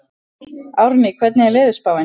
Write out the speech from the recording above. Árný, hvernig er veðurspáin?